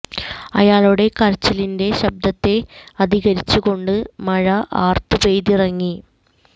അയാളുടെ കരച്ചിലിന്റെ ശബ്ദത്തെ അധികരിച്ചു കൊണ്ട് മഴ ആര്ത്ത് പെയ്തിറങ്ങി